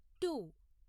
to